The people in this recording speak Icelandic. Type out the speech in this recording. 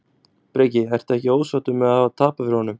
Breki: Ertu ekkert ósáttur með að hafa tapað fyrir honum?